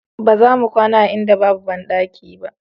Ba za mu kwana a inda babu bandaki